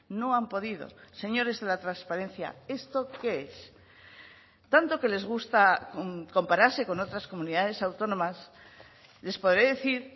no han podido señores de la transparencia esto qué es tanto que les gusta compararse con otras comunidades autónomas les podré decir